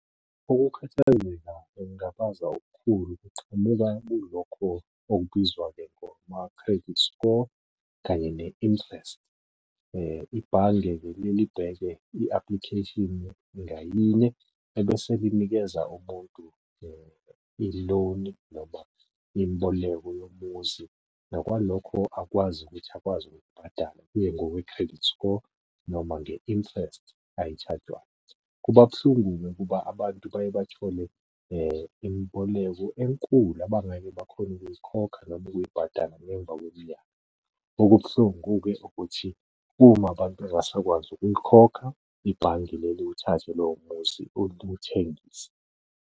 Ukukhathazeka nokungabaza okukhulu kuqhamuka kulokho okubizwa-ke ngama-credit score, kanye ne-interest. Ibhange-ke liyeke libheke i-application ngayinye, ebese linikeza umuntu i-loan noma imboleko yomuzi, nokwalokho akwazi ukuthi akwazi ukukubhadala kuye ngokwe-credit score noma nge-interest ayishajwayo. Kuba buhlungu-ke ukuba abantu baye bathole imboleko enkulu abangeke bakhone ukuyikhokha noma ukuyibhadala emva kweminyaka. Okubuhlungu-ke ukuthi uma abantu bengasakwazi ukuyikhokha, ibhange liyeke luthathe lowo muzi luthengise.